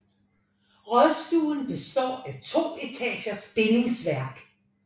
Rådstuen består af to etagers bindingsværk